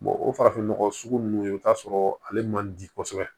o farafinnɔgɔ sugu ninnu i bɛ t'a sɔrɔ ale man di kosɛbɛ